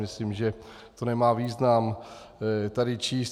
Myslím, že to nemá význam tady číst.